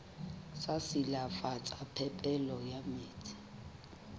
sa silafatsa phepelo ya metsi